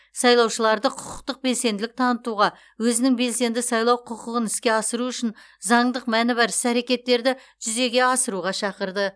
сайлаушыларды құқықтық белсенділік танытуға өзінің белсенді сайлау құқығын іске асыру үшін заңдық мәні бар іс әрекеттерді жүзеге асыруға шақырды